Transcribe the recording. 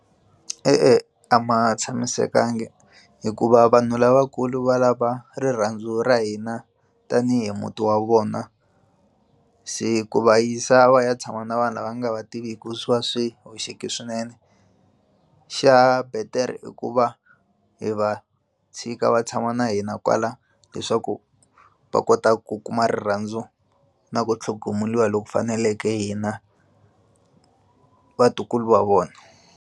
E-e, a ma tshamisekangi hikuva vanhu lavakulu va lava rirhandzu ra hina tanihi muti wa vona se ku va yisa va ya tshama na vanhu lava nga va tiviki swa swi hoxekile swinene xa betere i ku va hi va tshika va tshama na hina kwala leswaku va kota ku kuma rirhandzu na ku tlhogomeriwa loku faneleke hina vatukulu va vona.